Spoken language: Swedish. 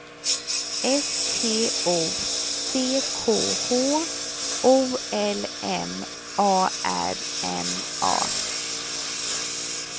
S T O C K H O L M A R N A